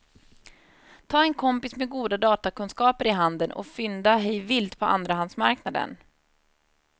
Ta en kompis med goda datakunskaper i handen och fynda hej vilt på andrahandsmarknaden.